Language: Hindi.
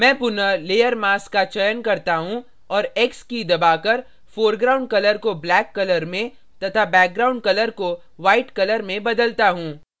मैं पुनः layer mask का चयन करता हूँ और x की key दबाकर foreground colour को black colour में तथा background colour को white colour में बदलता हूँ